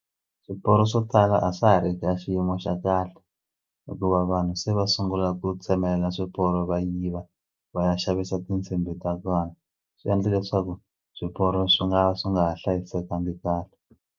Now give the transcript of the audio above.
Swiporo swo tala a swa ha ri ka xiyimo xa kahle hikuva vanhu se va sungula ku tsemela swiporo va yiva va ya xavisa tinsimbhi ta kona swi endla leswaku swiporo swi nga swi nga ha hlayisekangi kahle.